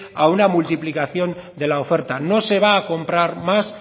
a una multiplicación de la oferta no se va a comprar más